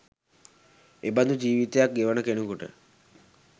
එබඳු ජීවිතයක් ගෙවන කෙනෙකුට